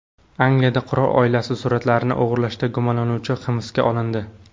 Angliyada qirol oilasi suratlarini o‘g‘irlashda gumonlanuvchi hibsga olindi.